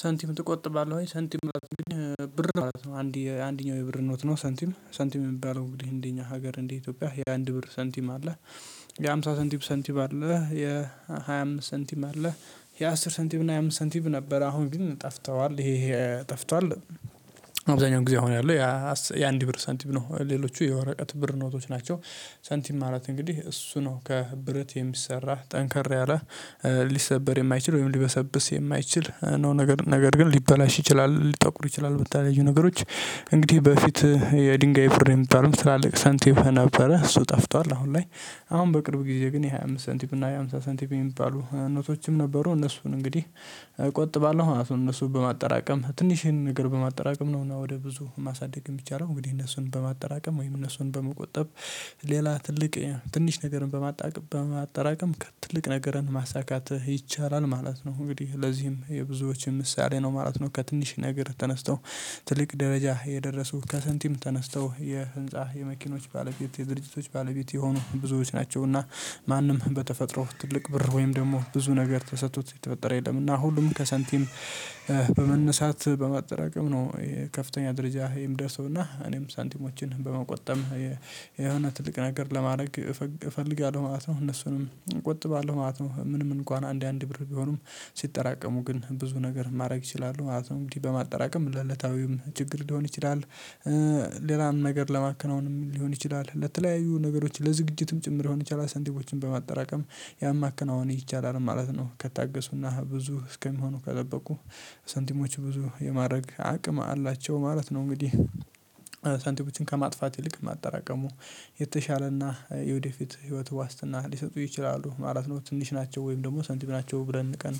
ሳንቲም ትቆጥባለህ ወይ? ሳንቲም ማለት እንግዲህ ብር ማለት ነው አንድ የአንደኛው የብር ኖት ነው ሳንቲም ሳንቲም የሚባለው እንግዲህ እንደኛ ሀገር እንደ ኢትዮጵያ የአንድ ብር ሳንቲም አለ። የሃምሳ ሳንቲም ሳንቲም አለ የሃያ ሳንቲም አለ። የአስር ሳንቲም እና ሃያ አምስት ሳንቲም ነበር አሁን ግን ጠፍተዋል ይሄ ጠፍቷል። አብዛኛው ጊዜ አሁን ያለው የአንድ ብር ሳንቲም ነው ሌሎቹ የወረቀት ብር ኖቶች ናቸው። ሳንቲም ማለት እንግዲህ እሱ ነው ከብረት የሚሰራ ጠንከር ያለ ሊሰበር የማይችል ወይም ሊበሰብስ የማይችል ነው ነገር ነገር ግን ሊበላሽ ይችላል ሊጠቁር ይችላል በተለያዩ ነገሮች። እንግዲህ በፊት የድንጋይ ብር የሚባለው ትላልቅ ሳንቲም ነበረ እሱ ጠፍቷል አሁን ላይ። አሁን በቅርብ ጊዜ ግን የሃያ አምስት ሳንቲም እና የሃምሳ ሳንቲም የሚባሉ ኖቶችም ነበሩ እነሱን እንግዲህ። እቆጥባለው እነሱን በማጠራቀም ትንሽ ይሄንን ነገር በማጠራቀም ነውና ወደ ብዙ ማሳደግ የሚቻለው እንግዲህ እነሱን በማጠራቀም ወይም እነሱን በመቆጠብ። ሌላ ትልቅ ትንሽ ነገርን በማጠራቀም ከትልቅ ነገርን ማሳካት ይቻላል ማለት ነው እንግዲህ ለዚህም የብዙዎች ምሳሌ ነው ማለት ነው። ከትንሽ ነገር ተነስተው ትልቅ ደረጃ የደረሱ ከሳንቲም ተነስተው የህንፃ የመኪኖች ባለቤት የድርጅቶች ባለቤት የሆኑ ብዙዎች ናቸውና። ማንም በተፈጥሮ ትልቅ ብር ወይም ደግሞ ብዙ ነገር ተሰጥቶት የተፈጠረ የለም እና ሁሉም ከሰንቲም በመነሳት በማጠራቀም ነው። የከፍተኛ ደረጃ የሚደርሰውና እኔም ሳንቲሞችን በመቆጠብ የሆነ ትልቅ ነገር ለማድረግ እፈልጋለሁ ማለት ነው። እነሱንም እቆጥባለሁ ማለት ነው። ምንም እንኳን አንድ አንድ ብር ቢሆኑም ሲጠራቀሙ ግን ብዙ ነገር ማድረግ ይችላሉ ማለት ነው። እንዲህ በማጠራቀም ለለታዊም ችግር ሊሆን ይችላል። ሌላም ነገር ለማከናወን ሊሆን ይችላል ለተለያዩ ነገሮች ለዝግጅትም ጭምር ሊሆን ይችላል። ሳንቲሞችን በማጠራቀም ያን ማከናወን ይቻላል ማለት ነው ከታገሱና ብዙ እስከሚሆኑ ከገበቁ ሳንቲሞች ብዙ የማድረግ አቅም አላቸው ማለት ነው። እንግዲህ ሳንቲሞችን ከማጥፋት ይልቅ ማጠራቀሙ የተሻለና የወደፊት ህይወት ዋስትና ሊሰጡ ይችላሉ ማለት ነው። ትንሽ ናቸው ወይም ደግሞ ሳንቲም ናቸው ብለን ንቀን